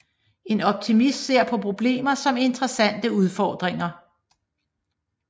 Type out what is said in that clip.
En optimist ser på problemer som interessante udfordringer